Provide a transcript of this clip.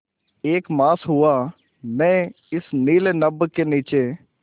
एक मास हुआ मैं इस नील नभ के नीचे